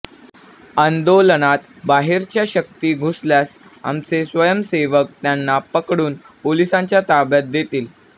आंदोलनात बाहेरच्या शक्ती घुसल्यास आमचे स्वयंसेवक त्यांना पकडून पोलिसांच्या ताब्यात देतील